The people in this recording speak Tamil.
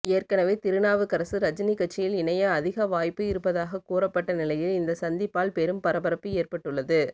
ஏற்கனவே திருநாவுக்கரசு ரஜினி கட்சியில் இணைய அதிக வாய்ப்பு இருப்பதாக கூறப்பட்ட நிலையில் இந்த சந்திப்பால் பெரும் பரபரப்பு ஏற்பட்டுள்ளது